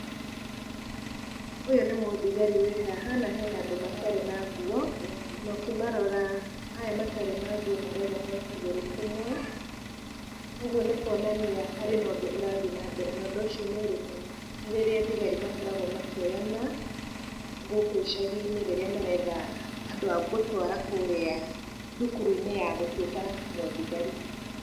Ũyũ nĩ mũthigari wĩ haha na hena andũ matarĩ na nguo, na ũkĩmarora aya matarĩ na nguo marerwo moe kũgũrũ kũmwe , kũgwo nĩ kwonania harĩ na ũndũ ũrathiĩ na mbere , na ũndũ ũcio nĩ ũrĩkũ? nĩ rĩrĩa thigari makoragwo makĩoyana gũkũ icagi-inĩ , rĩrĩa maretha andũ agũtwara kũrĩa thukuru-inĩ ya gũtuĩka mũthigari.